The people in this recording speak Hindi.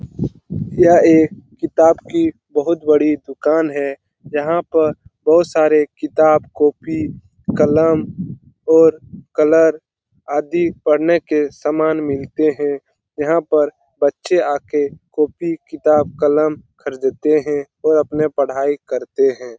यह एक किताब की बहुत बड़ी दुकान है यहाँ पर बहुत सारे किताब कॉपी कलम और कलर आदि पढ़ने के सामान मिलते हैं यहाँ पर बच्चे आ के कॉपी किताब कलम खरीदते हैं और अपना पढाई करते हैं।